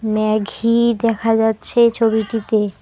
ম্যাঘি দেখা যাচ্ছে ছবিটিতে।